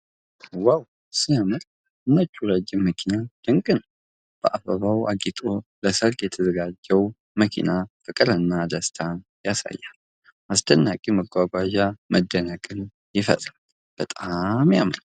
ዋው ሲያምር! ነጩ ረጅም መኪና ድንቅ ነው። በአበባው አጊጦ ለሠርግ የተዘጋጀው መኪና ፍቅርንና ደስታን ያሳያል። አስደናቂ መጓጓዣ መደነቅን ይፈጥራል። በጣም ያምራል!